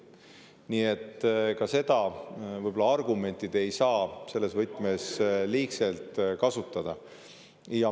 Nii et ka seda argumenti te ei saa selles võtmes liigselt kasutada.